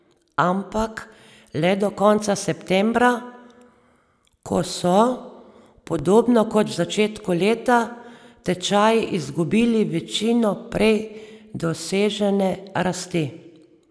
Ampak le do konca septembra, ko so, podobno kot v začetku leta, tečaji izgubili večino prej dosežene rasti.